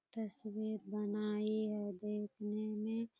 तस्वीर बनाई है देखने में --